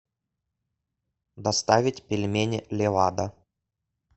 доставить пельмени левада